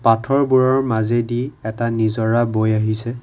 পাথৰ বোৰৰ মাজেদি এটা নিজৰা বৈ আহিছে।